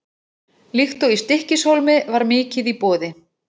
Líkt og í Stykkishólmi var mikið í boði.